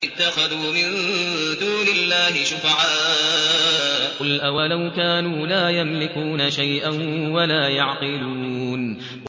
أَمِ اتَّخَذُوا مِن دُونِ اللَّهِ شُفَعَاءَ ۚ قُلْ أَوَلَوْ كَانُوا لَا يَمْلِكُونَ شَيْئًا وَلَا يَعْقِلُونَ